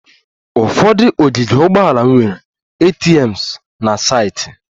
Ụfọdụ ogige ụgbọala nwere ATMs na saịtị